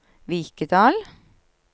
Vikedal